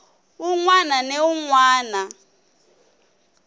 wun wana ni wun wana